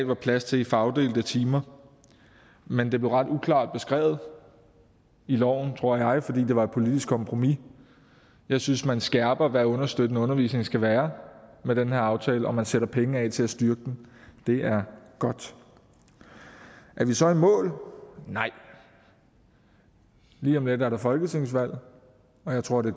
var plads til i fagopdelte timer men det blev ret uklart beskrevet i loven tror jeg fordi det var et politisk kompromis jeg synes man skærper hvad understøttende undervisning skal være med den her aftale og man sætter penge af til at styrke den det er godt er vi så i mål nej lige om lidt er der folketingsvalg og jeg tror det